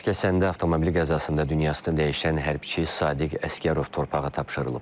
Daşkəsəndə avtomobil qəzasında dünyasını dəyişən hərbiçi Sadiq Əsgərov torpağa tapşırılıb.